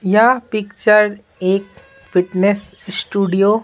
या पिक्चर एक fitness studio --